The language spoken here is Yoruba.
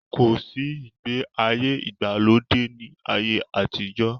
Kòsí ìgbé ayé ìgbàlódé ni ayé àtijọ́.